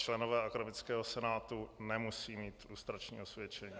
Členové akademického senátu nemusí mít lustrační osvědčení.